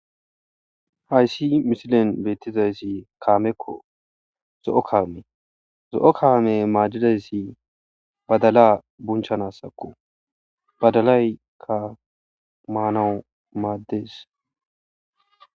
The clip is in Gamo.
Hayissi misilen betizayisi kameko zo'o kame zo'o kame madidayisi badala bunchanasako badalayika manawu mades